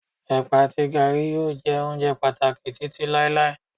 ẹpa ati garri yíò jé ounjẹ pàtàkì Títí láíláí